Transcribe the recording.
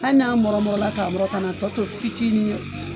Hali n'a mɔrɔn mɔrɔn la ka mɔrɔn kana na tɔ to fitinin ye